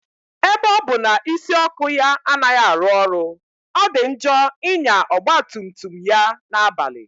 Ebe ọ bụ na isi ọkụ ya anaghị arụ ọrụ, ọ dị njọ ịnya ọgba tum tum ya na-abalị